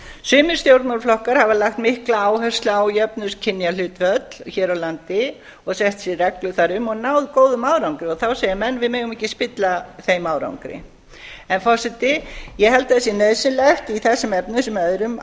sumir stjórnmálaflokkar hafa lagt mikla áherslu á jöfn kynjahlutföll hér á landi og sett sér reglur þar um og náð góðum árangri og þá segja menn við megum ekki spilla þeim árangri forseti ég held að það sé nauðsynlegt í þessum efnum sem öðrum